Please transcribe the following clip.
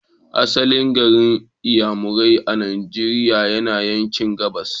Asalin garin Inyamurai a Nigeria yana yanki gabas.